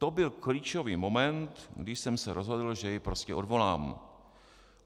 To byl klíčový moment, kdy jsem se rozhodl, že jej prostě odvolám.